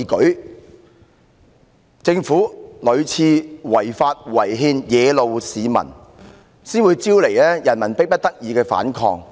是政府屢次違法違憲惹怒市民，才招致他們迫不得已的反抗。